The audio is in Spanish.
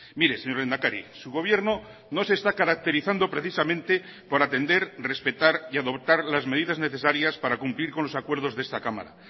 mire señor lehendakari su gobierno no se está caracterizando precisamente por atender respetar y adoptar las medidas necesarias para cumplir con los acuerdos de esta cámara